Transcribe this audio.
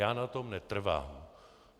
Já na tom netrvám.